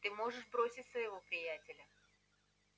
ты можешь бросить своего приятеля